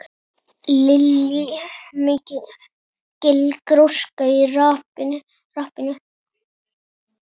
Lillý: Mikil gróska í rappinu?